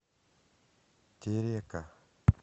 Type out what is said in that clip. терека